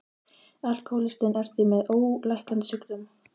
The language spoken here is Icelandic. Alkohólistinn er því með ólæknandi sjúkdóm.